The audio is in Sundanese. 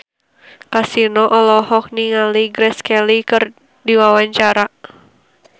Kasino olohok ningali Grace Kelly keur diwawancara